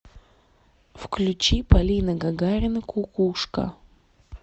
включи полина гагарина кукушка